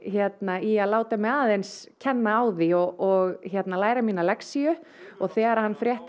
í að láta mig aðeins kenna á því og læra mína lexíu og þegar hann frétti